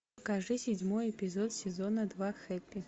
покажи седьмой эпизод сезона два хэппи